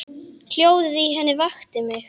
Hljóðið í henni vakti mig.